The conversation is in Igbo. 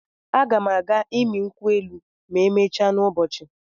A ga m aga ịmị nkwụ elụ ma emechaa n'ụbọchị.